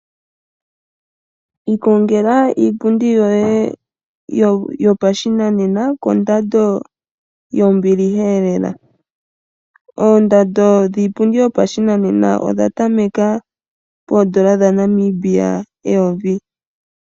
Ikongela iipundi yoye yopashinanena kondando yombiliha lela. Oondando dhiipundi yopashinanena odhatameke poodola dhaNamibia eyovi.